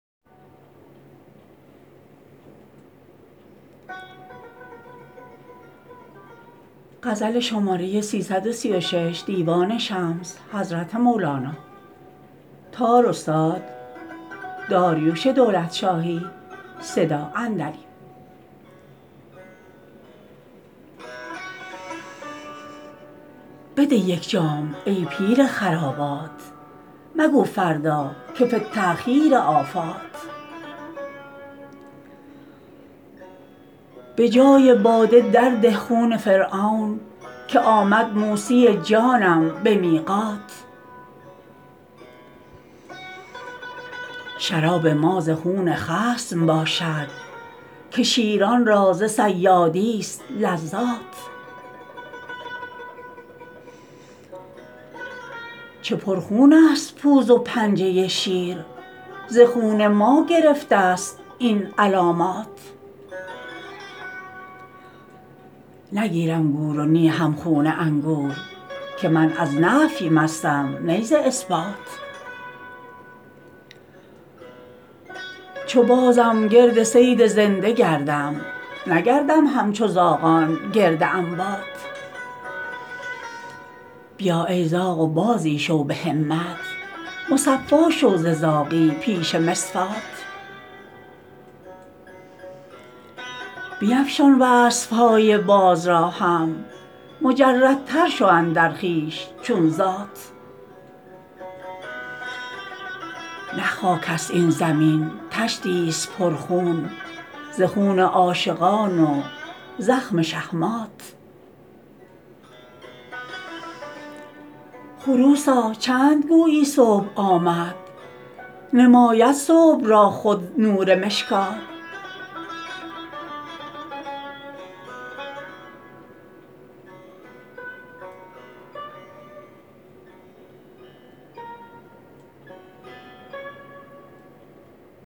بده یک جام ای پیر خرابات مگو فردا که فی التأخیر آفات به جای باده درده خون فرعون که آمد موسی جانم به میقات شراب ما ز خون خصم باشد که شیران را ز صیادیست لذات چه پرخونست پوز و پنجه شیر ز خون ما گرفتست این علامات نگیرم گور و نی هم خون انگور که من از نفی مستم نی ز اثبات چو بازم گرد صید زنده گردم نگردم همچو زاغان گرد اموات بیا ای زاغ و بازی شو به همت مصفا شو ز زاغی پیش مصفات بیفشان وصف های باز را هم مجردتر شو اندر خویش چون ذات نه خاکست این زمین طشتیست پرخون ز خون عاشقان و زخم شهمات خروسا چند گویی صبح آمد نماید صبح را خود نور مشکات